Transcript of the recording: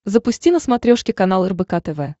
запусти на смотрешке канал рбк тв